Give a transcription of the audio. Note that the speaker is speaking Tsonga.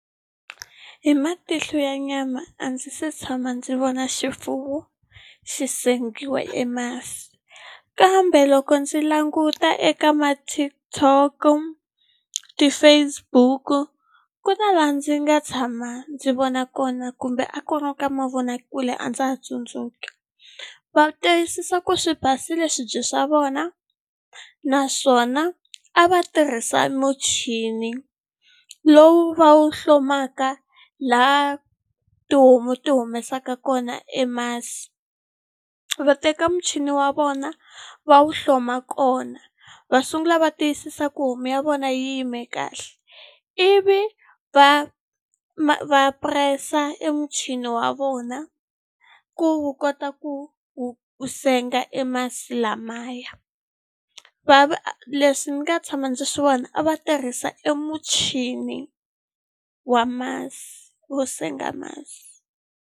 Hi matihlo ya nyama a ndzi se tshama ndzi vona xifuwo xi sengiwa e masi, kambe loko ndzi languta eka ma-TikTok-o, ti-Facebook-u, ku na laha ndzi nga tshama ndzi vona kona kumbe a ku ri ka mavonakule a ndza ha tsundzuki. Va tiyisisa ku swi basile swibye swa vona, naswona a va tirhisa muchini. Lowu va wu hlomaka laha tihomu ti humesaka kona e masi. Va teka muchini wa vona va wu hloma kona, va sungula va tiyisisa ku homu ya vona yi yime kahle, ivi va va press-a e muchini wa vona ku wu kota ku ku wu senga e masi lamaya. Leswi ni nga tshama ndzi swi vona, a va tirhisa emuchini wa masi, wo senga masi.